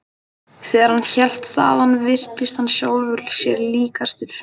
Þegar hann hélt þaðan virtist hann sjálfum sér líkastur.